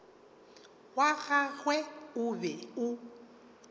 wa gagwe o be o